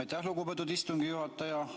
Aitäh, lugupeetud istungi juhataja!